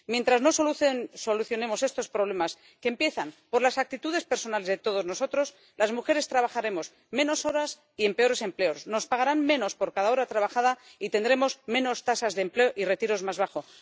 Mientras no solucionemos estos problemas, que empiezan por las actitudes personales de todos nosotros, las mujeres trabajaremos menos horas y en peores empleos, nos pagarán menos por cada hora trabajada y tendremos menos tasas de empleo y retiros más bajos.